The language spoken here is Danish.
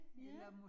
Ja